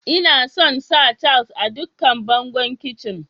lna son sa tiles a dukkan bangon kicin.